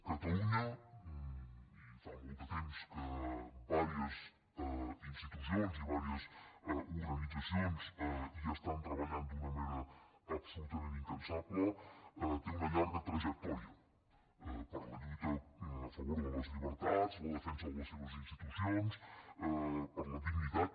catalunya i fa molt de temps que diverses institucions i diverses organitzacions hi estan treballant d’una manera absolutament incansable té una llarga trajectòria per la lluita a favor de les llibertats la defensa de les seves institucions per la dignitat